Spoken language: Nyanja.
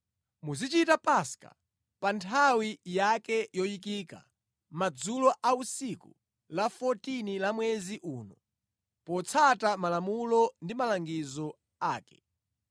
Muzichita Paska pa nthawi yake yoyikika, madzulo a tsiku la 14 la mwezi uno, potsata malamulo ndi malangizo ake.”